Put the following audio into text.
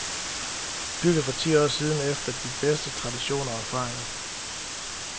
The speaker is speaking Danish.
Bygget for ti år siden efter de bedste traditioner og erfaringer.